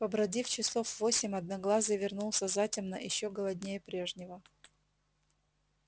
побродив часов восемь одноглазый вернулся затемно ещё голоднее прежнего